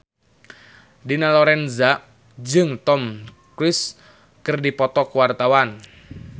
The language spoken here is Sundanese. Dina Lorenza jeung Tom Cruise keur dipoto ku wartawan